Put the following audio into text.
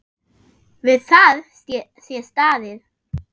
Við það sé staðið.